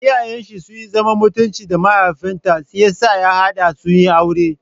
Iyayen shi sunyi zaman mutunci da mahaifin ta shiyasa ya haɗa su aure.